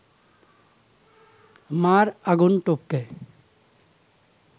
মা’র আগুন টপকে